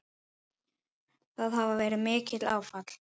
Það hafi verið mikið áfall.